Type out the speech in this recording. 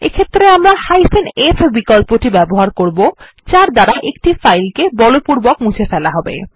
এই ক্ষেত্রে আমরা f বিকল্পটি ব্যবহার করবো যার দ্বারা একটি ফাইল কে বলপূর্বক মুছে ফেলা হবে